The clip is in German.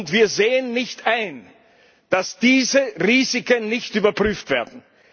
Und wir sehen nicht ein, dass diese Risiken nicht überprüft werden.